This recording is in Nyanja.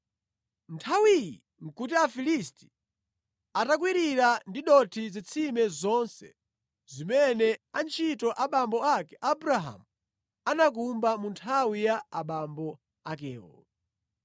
Nthawi iyi nʼkuti Afilisti atakwirira ndi dothi zitsime zonse zimene antchito abambo ake Abrahamu anakumba mu nthawi ya abambo akewo.